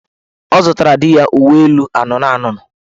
Ọ zụtara di ya uweelu anụnụanụnụ